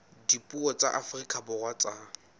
dipuo tsa afrika borwa tsa